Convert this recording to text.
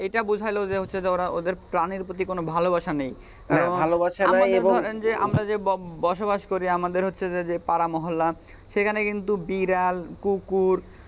এইটা বুঝাল যে ওদের ওরা প্রাণের প্রতি কোন ভালোবাসা নেই, আমরাই ধরেন যে আমরা যে বসবাস করি আমাদের হচ্ছে যে পাড়া মহল্লা সেখানে কিন্তু বিড়াল কুকুর,